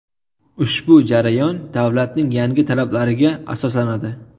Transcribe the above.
Ushbu jarayon davlatning yangi talablariga asoslanadi.